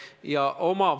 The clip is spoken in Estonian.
Aitäh!